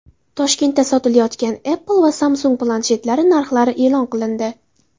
Toshkentda sotilayotgan Apple va Samsung planshetlari narxlari e’lon qilindi.